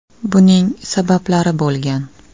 Buning sabablari bo‘lgan.